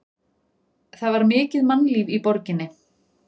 Það var mikið mannlíf í borginni.